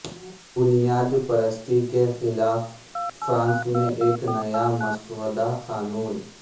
بنیاد پرستی کے خلاف فرانس میں ایک نیا مسودہ قانون